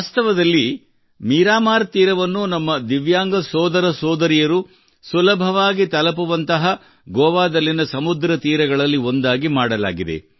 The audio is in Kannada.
ವಾಸ್ತವದಲ್ಲಿ ಮೀರಾಮಾರ್ ತೀರವನ್ನು ನಮ್ಮ ದಿವ್ಯಾಂಗ ಸೋದರ ಸೋದರಿಯರು ಸುಲಭವಾಗಿ ತಲುಪುವಂತಹ ಗೋವಾದಲ್ಲಿನ ಸಮುದ್ರ ತೀರಗಳಲ್ಲಿ ಒಂದಾಗಿ ಮಾಡಲಾಗಿದೆ